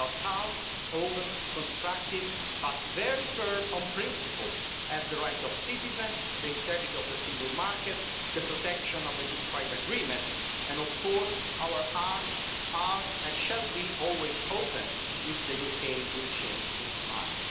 We are calm, open, constructive but very firm on principles, such as the right of citizens, the integrity of the Single Market, the protection of the Good Friday Agreement, and of course our arms are and will always be open if the UK changes its mind.